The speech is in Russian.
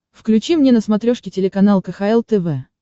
включи мне на смотрешке телеканал кхл тв